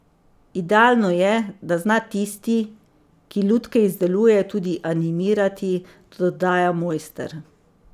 Idealno je, da zna tisti, ki lutke izdeluje, tudi animirati, dodaja mojster.